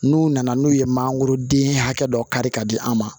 N'u nana n'u ye mangoroden hakɛ dɔ kari ka di an ma